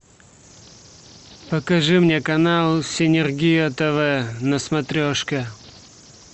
покажи мне канал синергия тв на смотрежке